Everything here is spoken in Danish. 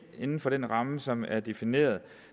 inden for den ramme som er defineret